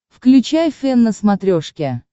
включай фэн на смотрешке